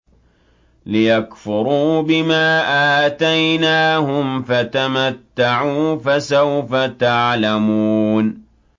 لِيَكْفُرُوا بِمَا آتَيْنَاهُمْ ۚ فَتَمَتَّعُوا فَسَوْفَ تَعْلَمُونَ